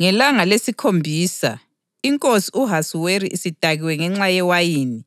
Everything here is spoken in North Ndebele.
Ngelanga lesikhombisa, inkosi u-Ahasuweru isidakiwe ngenxa yewayini,